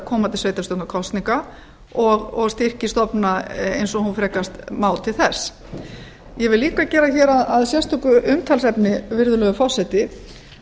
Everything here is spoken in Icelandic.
komandi sveitarstjórnarkosninga og styrkir stofnunina eins og hún frekast má til þess ég vil líka gera hér að sérstöku umtalsefni virðulegur forseti